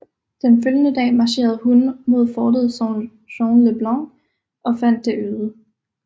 Den følgende dag marcherede hun mod fortet Saint Jean le Blanc og fandt det øde